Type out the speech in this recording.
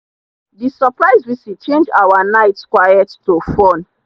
the surprise visit change our night quiet to fun